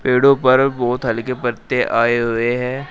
पेड़ों पर बहुत हल्के पत्ते आए हुए हैं।